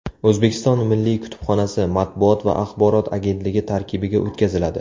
O‘zbekiston Milliy kutubxonasi Matbuot va axborot agentligi tarkibiga o‘tkaziladi.